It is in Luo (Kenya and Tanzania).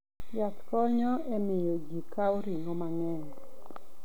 Yath konyo e miyo ji okaw ring'o mang'eny.